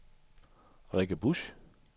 Rikke Busch